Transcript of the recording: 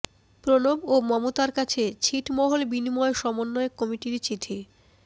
প্রণব ও মমতার কাছে ছিটমহল বিনিময় সমন্বয় কমিটির চিঠি